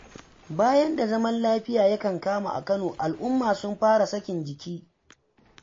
Bayan da zaman lafiya ya kankama a Kano, al'umma sun fara sakin jiki.